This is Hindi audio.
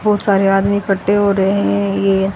बहुत सारे आदमी एकट्टे हो रहे हैं ये--